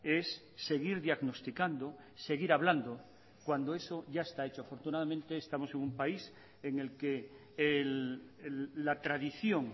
es seguir diagnosticando seguir hablando cuando eso ya está hecho afortunadamente estamos en un país en el que la tradición